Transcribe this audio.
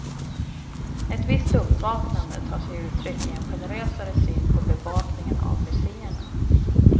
Ett visst uppvaknande tar sig uttryck i en generösare syn på bevakningen av museerna.